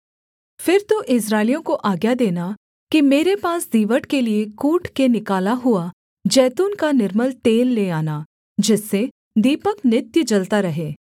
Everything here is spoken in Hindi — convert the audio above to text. फिर तू इस्राएलियों को आज्ञा देना कि मेरे पास दीवट के लिये कूट के निकाला हुआ जैतून का निर्मल तेल ले आना जिससे दीपक नित्य जलता रहे